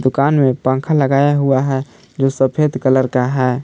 कान में पंखा लगाया हुआ है जो सफेद कलर का है।